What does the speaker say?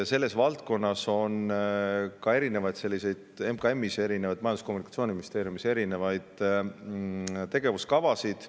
Selles valdkonnas on ka Majandus- ja Kommunikatsiooniministeeriumis erinevaid tegevuskavasid.